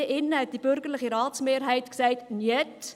Die bürgerliche Ratsmehrheit sagte damals: